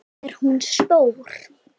Er hún stór?